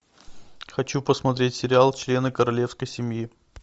хочу посмотреть сериал члены королевской семьи